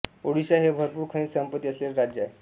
ओड़िशा हे भरपूर खनिज संपत्ती असलेले राज्य आहे